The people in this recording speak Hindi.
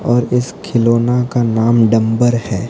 और इस खिलौना का डंबर है।